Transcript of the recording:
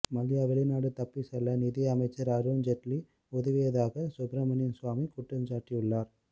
மல்லையா வெளிநாடு தப்பி செல்ல நிதி அமைச்சர் அருண்ஜெட்லி உதவியதாக சுப்ரமணியன் சுவாமி குற்றஞ்சாட்டியுள்ளார்